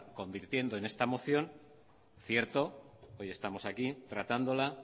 convirtiendo en esta moción cierto hoy estamos aquí tratándola